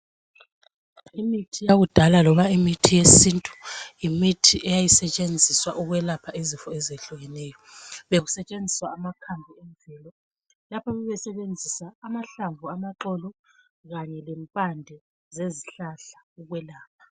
Imithi yakudala loba imithi yesintu yimithi eyayisetshenziswa ukwelapha izifo ezehlukeneyo bekusetshenziswa amakhambi emvelo lapho babesebenzisa amahlamvu amaxolo kanye lempande zezihlahla ukwelapha.